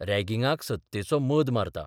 रॅगिंगाक सत्तेचो मद मारता.